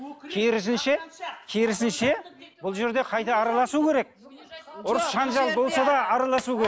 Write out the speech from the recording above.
керісінше керісінше бұл жерде қайта араласу керек ұрыс жаңжал болса да араласу